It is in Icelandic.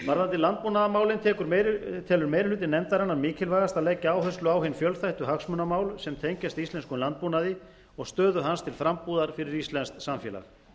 landbúnaðarmálin telur meiri hluti nefndarinnar mikilvægast að leggja áherslu á hin fjölþættu hagsmunamál sem tengjast íslenskum landbúnaði og stöðu hans til frambúðar fyrir íslenskt samfélag